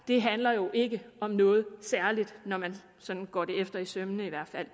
det her jo ikke om noget særligt når man sådan går det efter i sømmene i hvert fald